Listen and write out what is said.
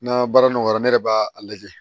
N'an baara nɔgɔyara ne yɛrɛ b'a lajɛ